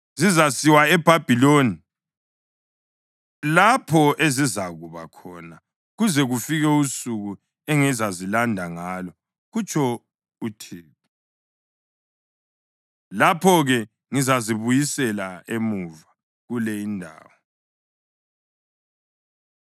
‘Zizasiwa eBhabhiloni lapho ezizakuba khona kuze kufike usuku engizazilanda ngalo,’ kutsho uThixo. ‘Lapho-ke ngizazibuyisela emuva kule indawo.’ ”